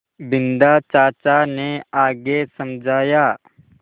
बिन्दा चाचा ने आगे समझाया